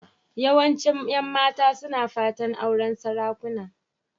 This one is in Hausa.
Yawancin 'yan mata suna fatan auren sarakuna.